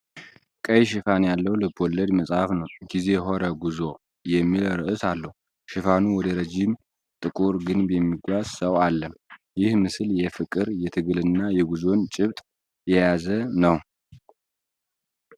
ቀይ ሽፋን ያለው ልብ ወለድ መጽሐፍ ነው። “ጊዜ ኧረ ጕዞ” የሚል ርዕስ አለው። ሽፋኑ ወደ ረዥም ጥቁር ግንብ የሚጓዝ ሰው አለ። ይህ ምስል የፍቅር፣ የትግልና የጉዞን ጭብጥ የያዘ ነው።